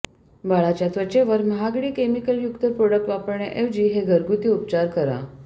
बाळाच्या त्वचेवर महागडी केमिकलयुक्त प्रोडक्ट वापरण्याऐवजी हे घरगुती उपचार करा